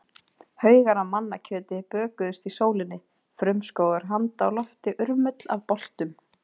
Haugar af mannakjöti bökuðust í sólinni, frumskógur handa á lofti, urmull af boltum.